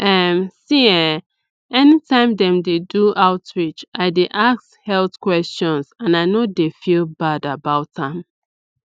um see eh anytime dem dey do outreach i dy ask health questions and i no dey feel bad about am